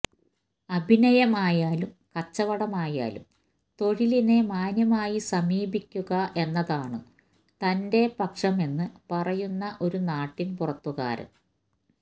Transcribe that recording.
അഭിനയമായാലും കച്ചവടമായാലും തൊഴിലിനെ മാന്യമായി സമീപിക്കുക എന്നതാണ് തന്റെ പക്ഷം എന്ന് പറയുന്ന ഒരു നാട്ടിൻ പുറത്തുകാരൻ